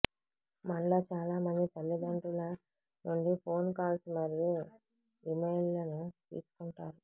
మనలో చాలా మంది తల్లిదండ్రుల నుండి ఫోన్ కాల్స్ మరియు ఇమెయిల్లను తీసుకుంటారు